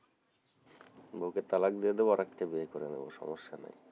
বউ কে তালাক দিয়ে দিবো আরেকটা বিয়ে করে নেবো সমস্যা নাই,